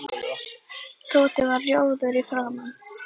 Tóti varð rjóður í framan.